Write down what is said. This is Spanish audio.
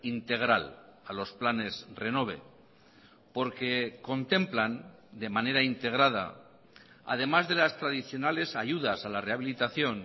integral a los planes renove porque contemplan de manera integrada además de las tradicionales ayudas a la rehabilitación